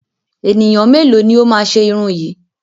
Ènìyàn mélòó ni ó máa ṣe irun yìí?